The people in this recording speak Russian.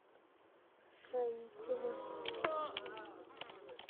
строителе